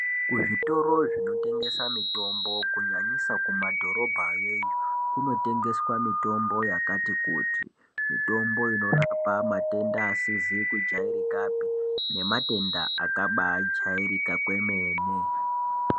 Kuzvitoro zvinotengesa mitombo kunyanyisa kumadhorobhayo iyo kunotengeswa mitombo yakati kuti, mitombo inorapa matenda asizi kujairikapi nematenda akabaijairika kwemene.